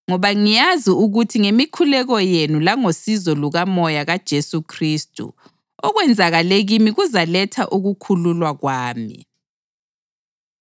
ngoba ngiyazi ukuthi ngemikhuleko yenu langosizo lukaMoya kaJesu Khristu, okwenzakale kimi kuzaletha ukukhululwa kwami.